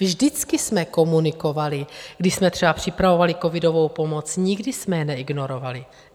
Vždycky jsme komunikovali, když jsme třeba připravovali covidovou pomoc, nikdy jsme je neignorovali.